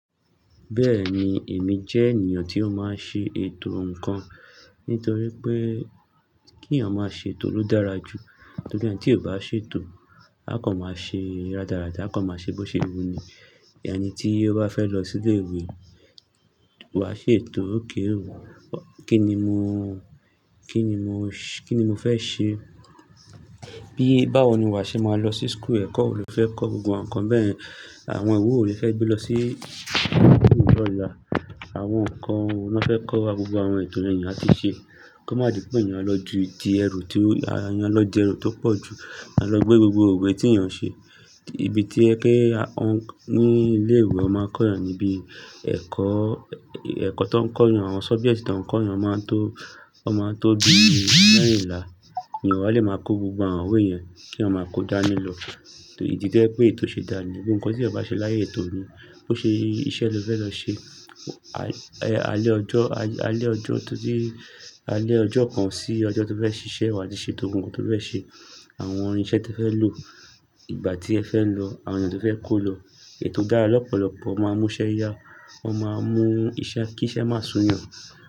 Bẹ́ẹ̀ni, èmi jẹ́ ènìyàn tí ó máa ń ṣe ètò ǹkan. Nítorí pé kí èeyàn máa ṣe ètò ló dára jù. Nítorí naa tí eeyan kò bá ṣe ètò, á kàn máa ṣe rárádá, á kàn máa ṣe bó ṣe wù ú ní. Ẹni tí ó bá fẹ́ lọ sí ilé ìwé, wàá ṣe ètò, okay o. Kí ni mo, kí ni mo, kí ni mo fẹ́ ṣe? Bí báwo ni wàá ṣe máa lọ sí school, ẹ̀kọ́ wo lo fẹ́ kọ́? Gbogbo àwọn nǹkan bẹ́yẹn. Àwọn ìwe wo lo fẹ́ gbé lọ sí school lọ́la? Àwọn nǹkan wo na fẹ́ kọ́ wa? Gbogbo àwọn ètò yen ni èeyàn atí ṣe. Kí ó má di pé ènìyàn á lọ ju ti ẹrù tí ó, àyà ń lọ di ẹrù tó pọ̀ jù. A lọ gbé gbogbo iwe tí yàn o ṣe. Ibi tí ẹ kí wọ́n ní ilé ìwé, wọ́n máa kọ́ èyàn níbí. Ẹ̀kọ́, ẹ̀kọ́ tó ń kọ́ èyàn, àwọn subjects tó ń kọ́ èyàn máa tó, wọ́n máa tó bí mẹ́rìnla èyàn o wa lè máa kó gbogbo àwọn iwe yẹn, kí èyàn máa kó dání lọ. Idì to jẹ pé ètò ṣe dání. Nkan tí èèyàn bá ṣe láìsí ètò ni, bó ṣe iṣẹ́ lo fẹ́ lọ ṣe, alẹ́ ọjọ́, alẹ́ ọjọ́ tó bí alẹ́ ọjọ́ kan sí ọjọ́ tó fẹ́ ṣiṣẹ́ wà á di ṣe tó ohun kan tó fẹ́ ṣe. Àwọn irinṣẹ́ tí ẹ fẹ́ lò, ìgbà tí ẹ fẹ́ lọ, àwọn ènìyàn tí o fẹ́ kó lọ. Ètò dára lọ́pọ̀lọpọ̀, ó máa mú iṣẹ́ yá, ó máa mú iṣẹ́ kí iṣẹ́ má sun ènìyàn.